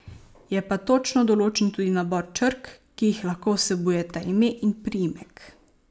Je pa točno določen tudi nabor črk, ki jih lahko vsebujeta ime in priimek.